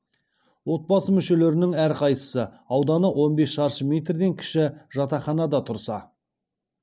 отбасы мүшелерінің әрқайсысы ауданы он бес шаршы метрден кіші жатақханада тұрса